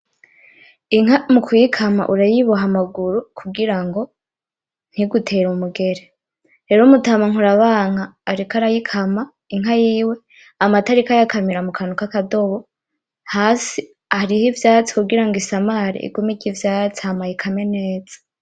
Inka mukuyikama urayiboha amaguru kugirango ntigutere umugere, rero umutama nkurabanka ariko arayikama inka yiwe, amata ariko ayakamira mukantu kakadobo, hasi hariho ivyatsi kugirango isamare igume irya ivyatsi hama ayikame neza.